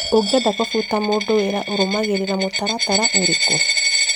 ũngĩenda kũbuta mũndũ wĩra ũrũmagĩrĩrra mũtaratara ũrĩkũ?